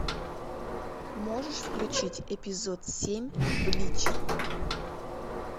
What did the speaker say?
можешь включить эпизод семь блич